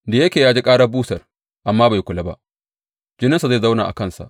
Da yake ya ji ƙarar busar amma bai kula ba, jininsa zai zauna a kansa.